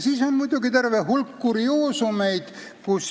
Siis on muidugi terve hulk kurioosumeid.